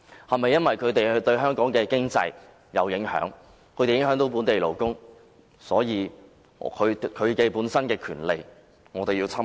是否因為他們對香港的經濟有影響，會影響本地勞工，所以他們的權利便要受到侵害？